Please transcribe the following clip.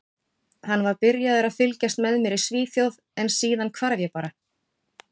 Hann var byrjaður að fylgjast með mér í Svíþjóð en síðan hvarf ég bara.